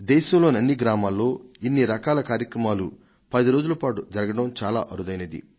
దేశంలోని ఇన్ని గ్రామాలలో ఇన్ని రకాల కార్యక్రమాలు పది రోజుల పాటు జరగడం చాలా అరుదైనది